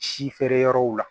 Si feere yɔrɔw la